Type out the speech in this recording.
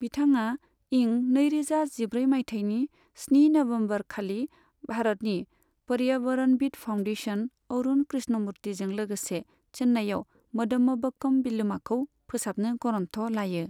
बिथाङा इं नैरोजा जिब्रै मायथाइनि स्नि नवंबर खालि भारतनि पर्यावरणविद् फाउंडेशन अरुण कृष्णमुर्तिजों लोगोसे चेन्नईआव मदमबक्कम बिलोमाखौ फोसाबनो गरन्थ लायो।